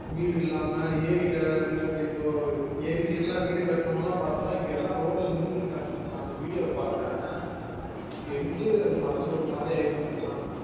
வீடு இல்லாம்ம ஏறி ல இப்போ ஏறி side ல வீடு கட்டுனவுங்க பார்த்தனா இப்போ road ல நின்னுட்டு இருக்காங்க மச்சா அந்த video ஆஹ் பாத்தேன் எனக்கே மனசு ஒரு மாதிரிஆகிருச்சி மச்சா